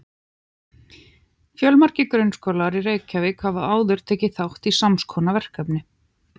Fjölmargir grunnskólar í Reykjavík hafa áður tekið þátt í sams konar verkefni.